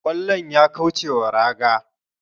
kwallon ya kaucewa raga